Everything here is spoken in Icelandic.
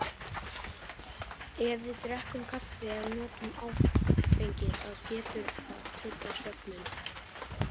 Ef við drekkum kaffi eða notum áfengi þá getur það truflað svefninn.